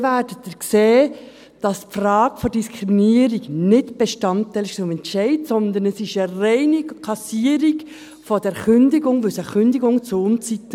Dann werden Sie sehen, dass die Frage der Diskriminierung nicht Bestandteil des Entscheids war, sondern es war eine reine Klassierung der Kündigung, weil es eine Kündigung zur Unzeit war.